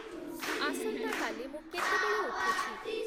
ଆସନ୍ତାକାଲି ମୁଁ କେତେବେଳେ ଉଠୁଛି